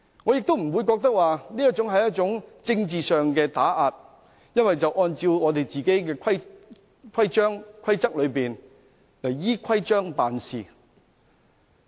我不認為這是一種政治上的打壓，而是按照我們的規章、規則辦事。